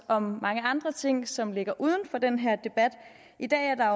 om mange andre ting som ligger uden for den her debat i dag er der